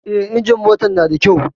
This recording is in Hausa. Eh, injimin motar na da kyau